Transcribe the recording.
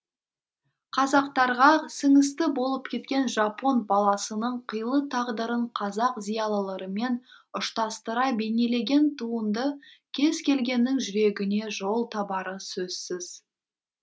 қазақтарға сіңісті болып кеткен жапон баласының қилы тағдырын қазақ зиялыларымен ұштастыра бейнелеген туынды кез келгеннің жүрегіне жол табары сөзсіз